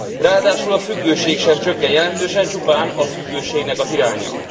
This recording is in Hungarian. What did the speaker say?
Ráadásul a függőség sem csökken jelentősen, csupán a függőségnek az iránya.